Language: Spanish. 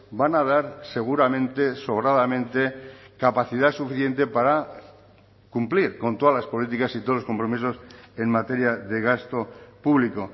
van a dar seguramente sobradamente capacidad suficiente para cumplir con todas las políticas y todos los compromisos en materia de gasto público